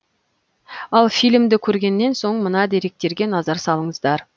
ал фильмді көргеннен соң мына деректерге назар салыңыздар